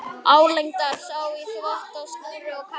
Álengdar sá í þvott á snúru og kamar.